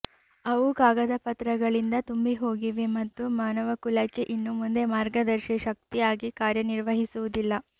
ಅವು ಕಾಗದಪತ್ರಗಳಿಂದ ತುಂಬಿಹೋಗಿವೆ ಮತ್ತು ಮಾನವಕುಲಕ್ಕೆ ಇನ್ನು ಮುಂದೆ ಮಾರ್ಗದರ್ಶಿ ಶಕ್ತಿಯಾಗಿ ಕಾರ್ಯನಿರ್ವಹಿಸುವುದಿಲ್ಲ